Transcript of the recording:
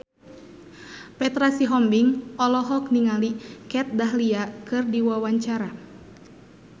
Petra Sihombing olohok ningali Kat Dahlia keur diwawancara